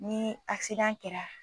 Ni kɛra